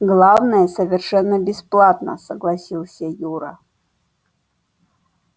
главное совершенно бесплатно согласился юра